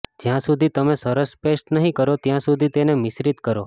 જ્યાં સુધી તમે સરસ પેસ્ટ નહીં કરો ત્યાં સુધી તેને મિશ્રિત કરો